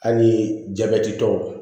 Hali jabɛtitɔw